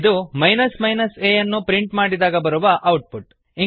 ಇದು a ಅನ್ನು print ಮಾಡಿದಾಗ ಬರುವ ಔಟ್ ಪುಟ್